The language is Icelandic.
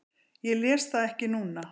Ég les það ekki núna.